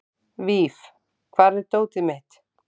Víf, hvar er dótið mitt?